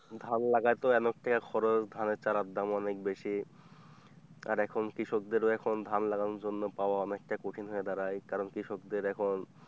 ধান লাগাই তো অনেকটা খরচ, ধানের চারার দাম অনেক বেশি আর এখন কৃষকদেরও এখন ধান লাগানোর জন্য পাওয়া অনেকটা কঠিন হয়ে দাড়াই কারণ কৃষকদের এখন,